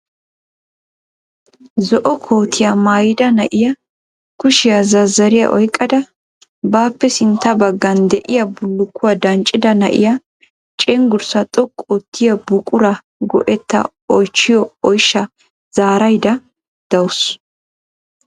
Zo'o kootiyaa maayyida na'iya kushiyaa zazzariya oyqqada bappe sintta baggan de'iyaa bullukuwa danccida na'iyaa cenggurssa xoqqu oottiyaa buquraa go"etta oychchiyo oyshsha zaaraydda daawusu.